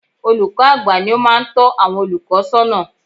Olùkọ́ àgbà ni ó máa ń tọ́ àwọn olùkọ́ sọ́nà